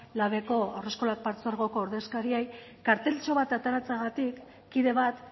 labeko haurreskolak partzuergoko ordezkariei karteltxo bat ateratzeagatik kide bat